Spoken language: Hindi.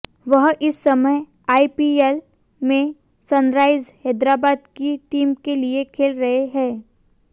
वह इस समय आईपीएल में सनराइजर्स हैदराबाद की टीम के लिए खेल रहे हैं